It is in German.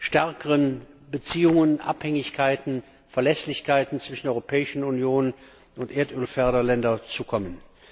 stärkeren Beziehungen, Abhängigkeiten und Verlässlichkeiten zwischen der Europäischen Union und den Erdölförderländern zu kommen.